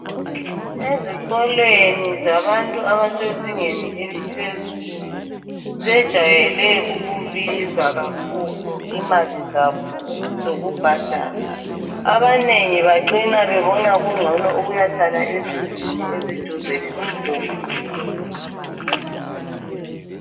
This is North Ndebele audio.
Ezikolweni zabantu abasezingeni eliphezulu bejayele ukubiza kakhulu imali zabo zokubhadala. Abanengi bacina bebona kungcono ukuyahlala ezindlini eziduze lesikolo.